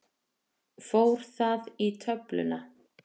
Fór það í töfluna?